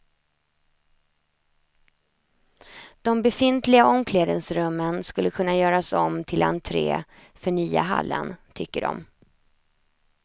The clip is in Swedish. De befintliga omklädningsrummen skulle kunna göras om till entré för nya hallen, tycker de.